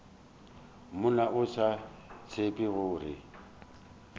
monna o sa tsebe gore